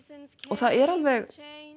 og það er alveg